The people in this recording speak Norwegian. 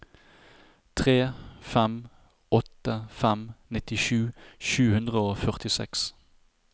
tre fem åtte fem nittisju sju hundre og førtiseks